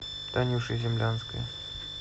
танюше землянской